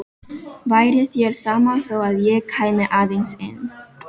Væri þér sama þó að ég kæmi aðeins inn?